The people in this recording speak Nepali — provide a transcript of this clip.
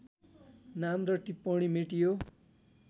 नाम र टिप्पणी मेटियो